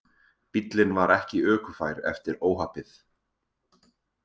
Bíllinn var ekki ökufær eftir óhappið